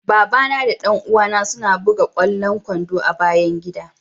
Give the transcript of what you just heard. Baba na da dan uwa na suna bugan kwallon kwando a'bayan gidan.